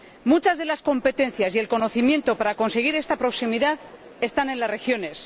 Muchas de las competencias y el conocimiento para conseguir esta proximidad están en las regiones.